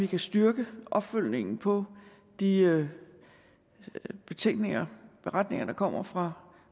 kan styrke opfølgningen på de betænkninger beretninger der kommer fra